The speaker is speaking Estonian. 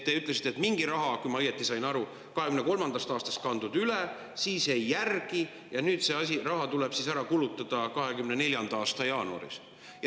Te ütlesite, et mingi raha, kui ma õigesti sain aru, on kantud 2023. aastast üle, siis jäi järele ja see raha tuli ära kulutada 2024. aasta jaanuaris.